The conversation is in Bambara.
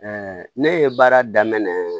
ne ye baara daminɛ